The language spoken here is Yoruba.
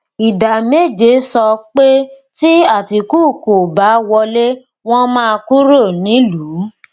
ìdá méje sọ pé tí atiku kò bá wọlé wọn máa kúrò nílùú